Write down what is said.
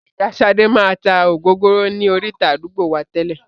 Ìyá sade máa tá ògógóró ni orita àdúgbò wá tẹ́lè